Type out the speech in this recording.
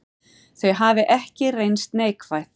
Þau hafi ekki reynst neikvæð.